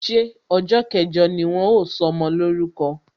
Ṣé ọjọ kẹjọ ni wọn ó sọmọ lórúko?